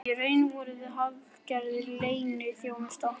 Í raun vorum við hálfgerðir leyniþjónustu